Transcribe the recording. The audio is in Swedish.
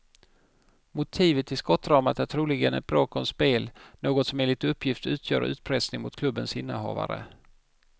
Motivet till skottdramat är troligen ett bråk om spel, något som enligt uppgift utgör utpressning mot klubbens innehavare.